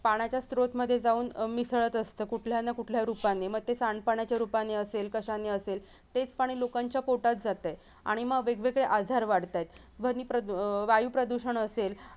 पाण्याच्या स्रोत मध्ये जाऊन अह मिसळत असत कुठल्या ना कुठल्या रूपाने मग ते सांडपाण्याच्या रूपाने असेल कशाने असेल तेच पाणी लोकांच्या पोटात जातंय आणि मग वेगवेगळे आजार वाढतायत ध्वनी प्रदु अह वायू प्रदूषण असेल